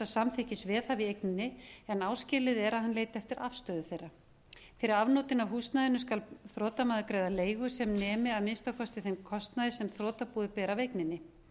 samþykkis veðhafa í eigninni en áskilið er að hann leiti eftir afstöðu þeirra fyrir afnotin af húsnæðinu skal þrotamaður greiða leigu sem nemi að minnsta kosti þeim kostnaði sem þrotabúið ber af eigninni